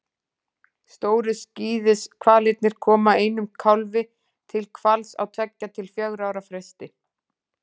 Stóru skíðishvalirnir koma einum kálfi til hvals á tveggja til fjögurra ára fresti.